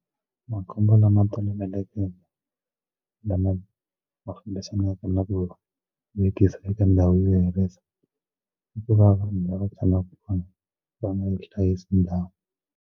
Makhombo lama tolovelekeke lama fambisanaka na ku vekisa eka ndhawu yo hirisa i ku va vanhu lava tshamaka kona va nga hlayisi ndhawu.